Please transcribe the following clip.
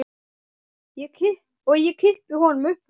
Og ég kippi honum upp úr.